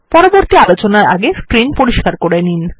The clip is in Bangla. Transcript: পরবর্তী আলোচনার আগে স্ক্রিন পরিস্কার করে নিন